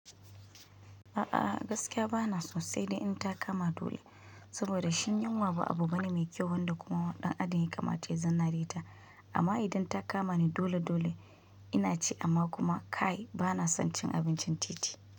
A'a gaskiya ba na son sai dai in ta kama dole, saboda shi yinwa ba abu bane mai kyau, wanda kuma ɗan adam ya kamata ya zanna riƙe ta. Amma idan ta kamani dole dole ina ci amma kuma kai ba na son cin abincin titi.